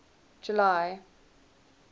july